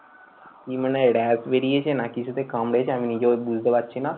কি মানে rash বেরিয়েছে না কিছুতে কামড়েছে আমি নিজেও বুঝতে পারছি না।